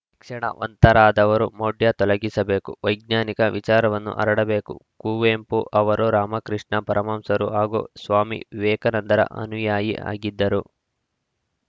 ಕ್ಷಣವಂತರಾದವರು ಮೌಢ್ಯ ತಲಗಿಸಬೇಕು ವೈಜ್ಞಾನಿಕ ವಿಚಾರವನ್ನು ಹರಡಬೇಕು ಕುವೆಂಪು ಅವರು ರಾಮಕೃಷ್ಣ ಪರಮಹಂಸರು ಹಾಗೂ ಸ್ವಾಮಿ ವಿವೇಕಾನಂದರ ಅನುಯಾಯಿ ಆಗಿದ್ದರು